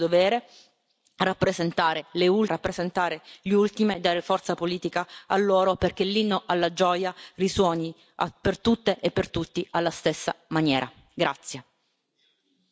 Spero di aver fatto il mio dovere, rappresentare le ultime, rappresentare gli ultimi e dare forza politica a loro perché l'inno alla gioia risuoni per tutte e per tutti alla stessa maniera.